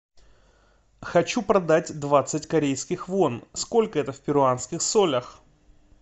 хочу продать двадцать корейских вон сколько это в перуанских солях